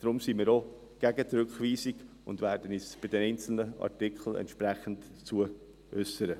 Darum sind wir auch gegen die Rückweisung und werden uns bei den einzelnen Artikeln entsprechend dazu äussern.